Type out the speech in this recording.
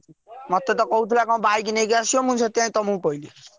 ମତେ ତ କହୁଥିଲା କଣ bike ନେଇକି ଆସିବୁ ମୁଁ ସେଥିପାଇଁ ତମକୁ କହିଲି।